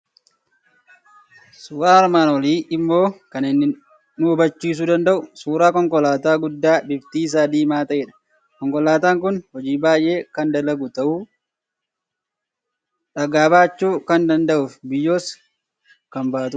Suuraan armaan olii immoo kan inni nu hubachiisuu danda'u, suuraa konkolaataa guddaa bifti isaa diimaa ta'edha. Konkolaataan kun hojii baay'ee kan dalaguu danda'u, dhagaa baachuu kan danda'uu fi biyyoos kan baatudha.